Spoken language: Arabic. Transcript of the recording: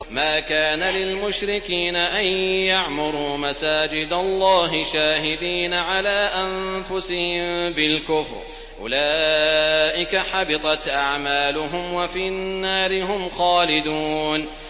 مَا كَانَ لِلْمُشْرِكِينَ أَن يَعْمُرُوا مَسَاجِدَ اللَّهِ شَاهِدِينَ عَلَىٰ أَنفُسِهِم بِالْكُفْرِ ۚ أُولَٰئِكَ حَبِطَتْ أَعْمَالُهُمْ وَفِي النَّارِ هُمْ خَالِدُونَ